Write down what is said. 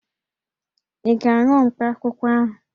Ị ga-aṅụ mkpakwụkwọ ahụ?